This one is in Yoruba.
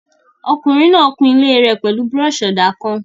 Ọkùnrin náà kun ilé rẹ̀ pẹ̀lú búrọ̀ṣì-ọ̀dà kan